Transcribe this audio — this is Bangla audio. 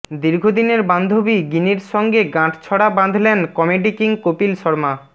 দীর্ঘদিনের বান্ধবী গিনির সঙ্গে গাঁটছড়া বাঁধলেন কমেডি কিং কপিল শর্মা